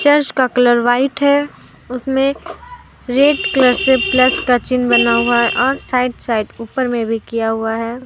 यश का colour white है उसमें रेड कलर से प्लस का चिन्ह बना हुआ है और साइड साइड ऊपर में भी किया हुआ है।